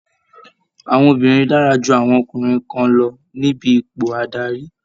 Àwọn obìnrin dára ju àwọn ọkùnrin kan lọ níbi ipò adarí